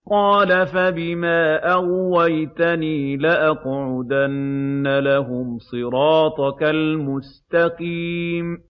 قَالَ فَبِمَا أَغْوَيْتَنِي لَأَقْعُدَنَّ لَهُمْ صِرَاطَكَ الْمُسْتَقِيمَ